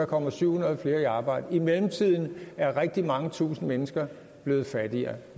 kommer syv hundrede flere i arbejde i mellemtiden er rigtig mange tusinde mennesker blevet fattigere